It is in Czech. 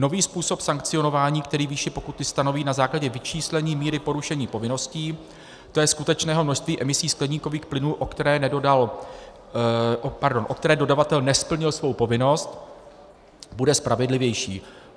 Nový způsob sankcionování, který výši pokuty stanoví na základě vyčíslení míry porušení povinností, to jest skutečného množství emisí skleníkových plynů, o které dodavatel nesplnil svou povinnost, bude spravedlivější.